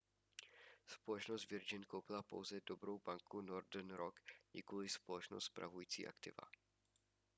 společnost virgin koupila pouze dobrou banku northern rock nikoliv společnost spravující aktiva